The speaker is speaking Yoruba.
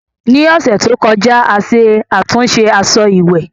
Ní ọ̀sẹ̀ tó kọjá, a ṣe àtúnṣe aṣọ ìwẹ̀